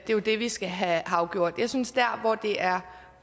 er jo det vi skal have afgjort jeg synes at der hvor det er